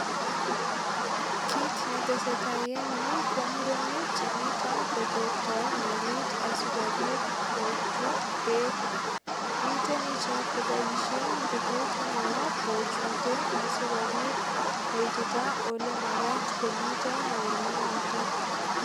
Kit ne tesetai en yu ko murenik chemito kotortoi melit asigopit kochut beek. Miten ichek koboisien ngubut neo kochute asigopit koitita olemagat komito melit noton.